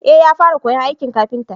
eh ya fara koyan aikin kafinta